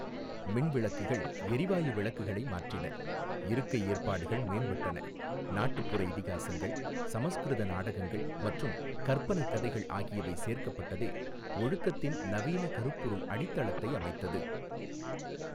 மின் விளக்குகள் எரிவாயு விளக்குகளை மாற்றின, இருக்கை ஏற்பாடுகள் மேம்பட்டன, நாட்டுப்புற இதிகாசங்கள், சமசுகிருத நாடகங்கள் மற்றும் கற்பனைக் கதைகள் ஆகியவை சேர்க்கப்பட்டதே ஒழுக்கத்தின் நவீன கருப்பொருள் அடித்தளத்தை அமைத்தது.